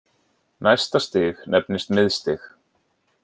Næsta stig nefnist miðstig.